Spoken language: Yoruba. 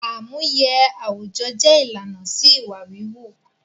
Àmúye àwùjọ jẹ ìlànà sí ìwà wíwú